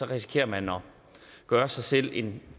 risikerer man at gøre sig selv en